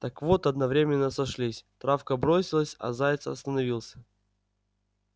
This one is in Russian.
так вот одновременно сошлись травка бросилась а заяц остановился